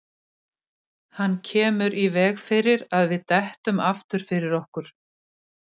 Hann kemur í veg fyrir að við dettum aftur fyrir okkur.